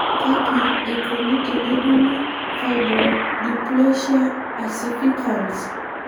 Kaji eikoni tenejungi fibrodysplasia ossificans?